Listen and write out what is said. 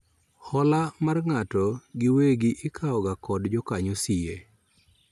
Hola mar ng'ato gi wegi ikawo ga kod jakanyo siye